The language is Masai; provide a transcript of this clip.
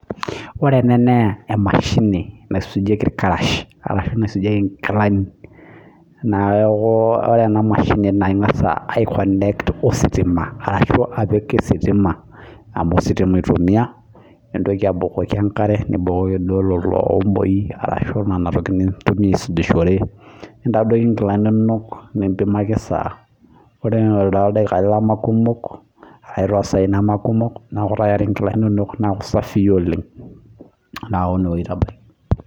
Ore ena naa emashini naisujieki ilkarash arashu naisujieki ilkilani, neeku, ore ena mashini naing'asa ai connect ositima arashu apik ositima amuu ositima itumia, nintoki abukoki enkare nibukoki iomoi arashu nena tokitin nintumia aisujurishore, nintadioki inkilani inono nimpimaki esaa ore tooldaikani lemee kumok ashu toosai nemeekumok neeku tayari ilkilani inono neeku safii oleng' neeku ine weji aitabaiki.